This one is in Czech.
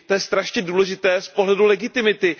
To je strašně důležité z pohledu legitimity.